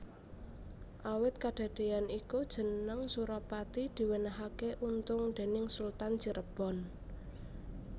Awit kadadean iku jeneng Surapati diwenehaké Untung déning Sultan Cirebon